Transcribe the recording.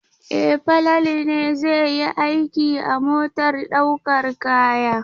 E, Falalu ne zai yi aiki a motar ɗaukar kaya.